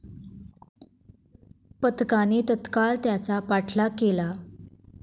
पथकाने तत्काळ त्याचा पाठलाग केला.